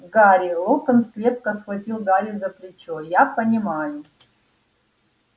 гарри локонс крепко схватил гарри за плечо я понимаю